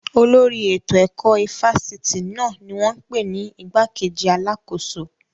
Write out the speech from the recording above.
Olórí ètò ẹ̀kọ́ ifásitì náà ni wọ́n pè ní igbákejì alákóso